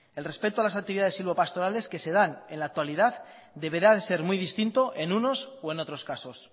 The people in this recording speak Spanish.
el respeto a las actividades silvopastorales que se dan en la actualidad deberá de ser muy distinta en unos o en otros casos